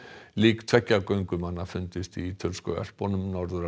lík tveggja göngumanna fundust í ítölsku Ölpunum norður af